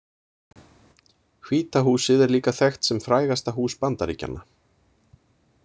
Hvíta húsið er líka þekkt sem frægasta hús Bandaríkjanna.